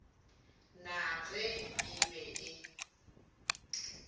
na ge e be e